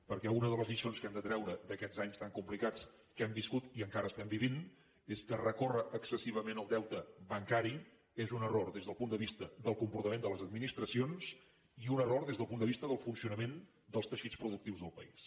perquè una de les lliçons que hem de treure d’aquests anys tan complicats que hem viscut i encara estem vivint és que recórrer excessivament al deute bancari és un error des del punt de vista del comportament de les administracions i un error des del punt de vista del funcionament dels teixits productius del país